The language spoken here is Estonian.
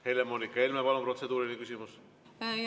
Helle-Moonika Helme, palun, protseduuriline küsimus!